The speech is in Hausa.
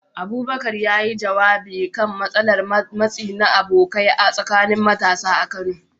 Abubakar, ya yi jawabi kan matsalar matsi na abokai a tsakanin matasa a Kano